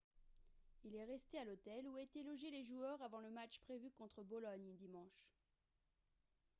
il est resté à l'hôtel où étaient logés joueurs avant le match prévu contre bologne dimanche